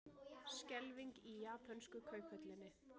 Skelfing í japönsku kauphöllinni